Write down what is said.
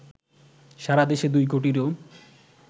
সারা দেশে ২ কোটিরও